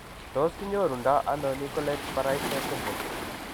Tos kinyoru ndo ano Nicolaides Baraitser syndrome ?